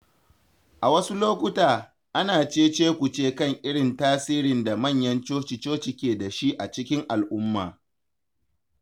A wasu lokuta, ana cece-kuce kan irin tasirin da manyan coci-coci ke da shi a cikin al’umma.